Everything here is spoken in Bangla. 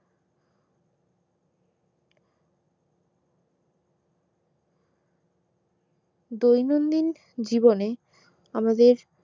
দৈনন্দিন জীবনে আমাদের